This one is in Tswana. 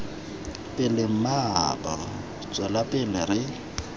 pele mmaabo tswela pele re